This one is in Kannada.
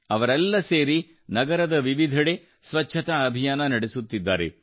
ಅವರೆಲ್ಲ ಸೇರಿ ನಗರದ ವಿವಿಧೆಡೆ ಸ್ವಚ್ಛತಾ ಅಭಿಯಾನ ನಡೆಸುತ್ತಿದ್ದಾರೆ